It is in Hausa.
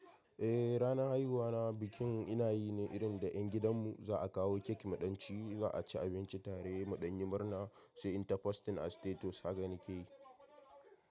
Eh, ranar haihuwa na bikin ina yi ne, irin da ƴan gidan mu za a kawo kek muɗanci, za a ci abinci tare da ɗan yi murna, sai in ta posting a status haga ni kek.